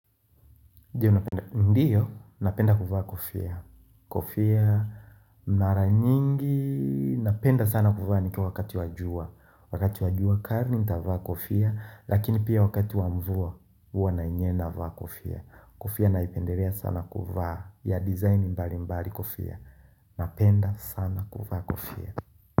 Ndiyo, napenda kuvaa kofia Kofia, mara nyingi napenda sana kuvaa ikiwa wakati wa jua Wakati wa jua kali nitavaa kofia Lakini pia wakati wa mvua huwa na inyena vaa kofia Kofia inapendeza sana kuvaa ya design mbali mbali kofia Napenda sana kuvaa kofia.